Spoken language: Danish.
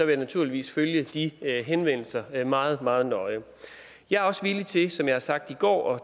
jeg naturligvis følge de henvendelser meget meget nøje jeg er også villig til som jeg har sagt i går